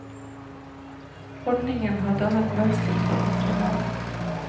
Ordningen har dannet mønster for andre land.